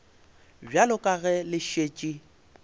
bjalo ka ge le šetše